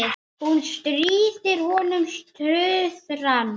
Hún stríðir honum tuðran.